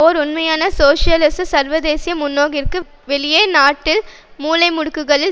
ஓர் உண்மையான சோசியலிச சர்வதேசிய முன்னோக்கிற்கு வெளியே நாட்டில் மூலைமுடுக்குகளில்